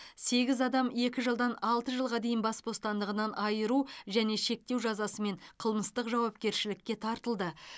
сегіз адам екі жылдан алты жылға дейін бас бостандығынан айыру және шектеу жазасымен қылмыстық жауапкершілікке тартылды